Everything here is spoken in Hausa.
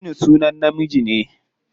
Aminu sunan namiji ne.